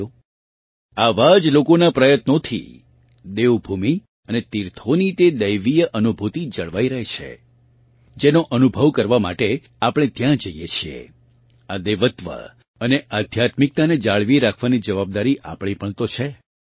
સાથીઓ આવાં જ લોકોનાં પ્રયત્નોથી દેવભૂમિ અને તીર્થોની તે દૈવીય અનુભૂતિ જળવાઇ રહી છે જેનો અનુભવ કરવા માટે આપણે ત્યાં જઇએ છીએ આ દેવત્વ અને આધ્યાત્મિકતાને જાળવી રાખવાની જવાબદારી આપણી પણ તો છે